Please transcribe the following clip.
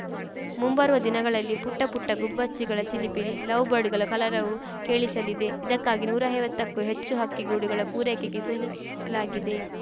ಮುಂಬರುವ ದಿನಗಳಲ್ಲಿ ಪುಟ್ಟಪುಟ್ಟಗುಬ್ಬಚ್ಚಿಗಳ ಚಿಲಿಪಿಲಿ ಲವ್‌ ಬರ್ಡ್‌ಗಳ ಕಲರವವೂ ಕೇಳಿಸಲಿದೆ ಇದಕ್ಕಾಗಿ ನೂರೈವತ್ತಕ್ಕೂ ಹೆಚ್ಚು ಹಕ್ಕಿ ಗೂಡುಗಳ ಪೂರೈಕೆಗೆ ಸೂಚಿಸಲಾಗಿದೆ